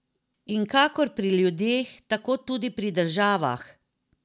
In kakor pri ljudeh, tako tudi pri državah!